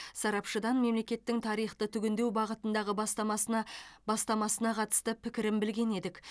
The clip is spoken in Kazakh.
сарапшыдан мемлекеттің тарихты түгендеу бағытындағы бастамасына бастамасына қатысты пікірін білген едік